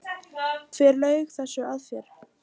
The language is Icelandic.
Hver laug þessu að þér?